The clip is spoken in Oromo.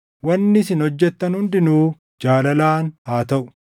Wanni isin hojjettan hundinuu jaalalaan haa taʼu.